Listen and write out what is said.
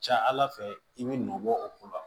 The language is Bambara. Ca ala fɛ i bɛ nɔbɔ o ko la